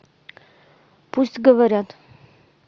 пусть говорят